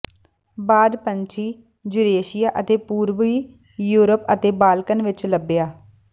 ਬਾਜ ਪੰਛੀ ਯੂਰੇਸ਼ੀਆ ਅਤੇ ਪੂਰਬੀ ਯੂਰਪ ਅਤੇ ਬਾਲਕਨ ਵਿੱਚ ਲੱਭਿਆ